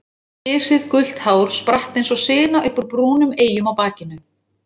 Gisið gult hár spratt eins og sina upp úr brúnum eyjum á bakinu.